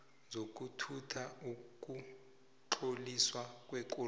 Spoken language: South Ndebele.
zokuthutha ukutloliswa kwekoloyi